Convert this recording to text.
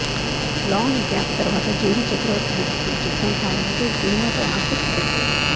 long gap తరువాత JD Chakravarthy నటిస్తున్న చిత్రం కావడంతో ఈ సినిమాపై ఆసక్తి పెరిగింది